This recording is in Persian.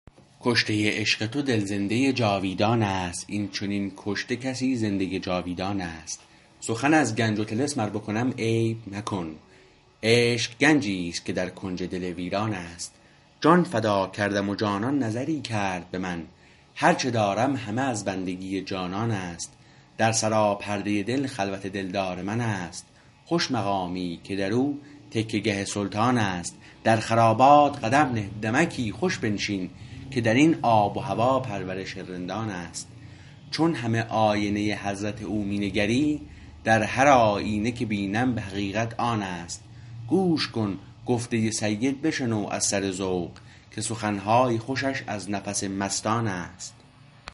کشته عشق تو دل زنده جاویدان است این چنین کشته کسی زنده جاویدان است سخن از گنج و طلسم ار بکنم عیب مکن عشق گنجیست که در کنج دل ویران است جان فدا کردم و جانان نظری کرد به من هرچه دارم همه از بندگی جانان است در سراپرده دل خلوت دلدار من است خوش مقامی که در او تکیه گه سلطان است در خرابات قدم نه دمکی خوش بنشین که در این آب و هوا پرورش رندان است چون همه آینه حضرت او می نگری در هر آیینه که بینم به حقیقت آن است گوش کن گفته سید بشنو از سر ذوق که سخنهای خوشش از نفس مستان است